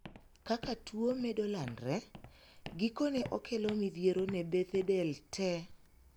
Kaka tuo medo landre, gikone okelo midhiero ne bethe del tee.